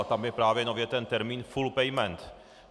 A tam je právě nově ten termín full payment.